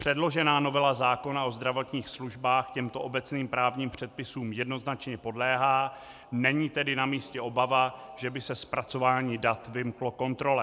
Předložená novela zákona o zdravotních službách těmto obecným právním předpisům jednoznačně podléhá, není tedy na místě obava, že by se zpracování dat vymklo kontrole.